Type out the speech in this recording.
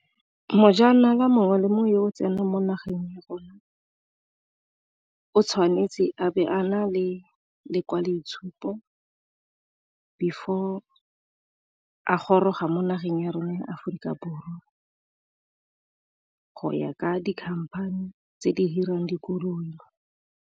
Mojanala mongwe le mongwe yo o tsenang mo nageng ya rona o tshwanetse a be a na le lekwaloitshupo, before a goroga mo nageng ya rona ya Aforika Borwa go ya ka di-company tse di hirang dikoloi.